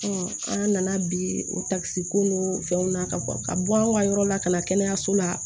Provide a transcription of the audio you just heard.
an nana bi o ko n'o fɛnw na ka bɔ ka bɔ an ka yɔrɔ la ka na kɛnɛyaso la